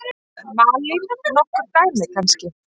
Malín: Nokkur dæmi kannski?